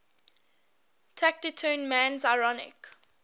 taciturn man's ironic